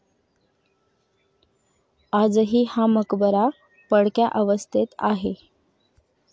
आजही हा मकबरा पडक्या अवस्थेत आहे.